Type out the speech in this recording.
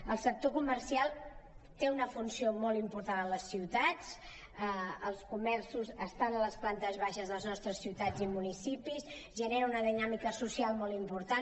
el sector comercial té una funció molt important a les ciutats els comerços estan a les plantes baixes de les nostres ciutats i municipis generen una dinàmica social molt important